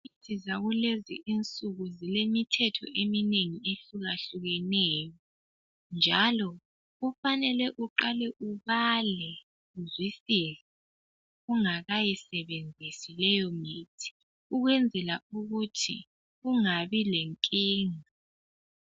Imithi zakulezi insuku zilemithetho eminengi ehlukahlukeneyo njalo kufanele uqale ubale uzwisise ungakayisebenzisi leyo mithi ukwenzela ukuthi ungabi lenkinga.